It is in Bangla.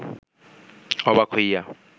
অবাক হইয়া